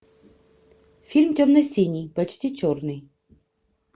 фильм темно синий почти черный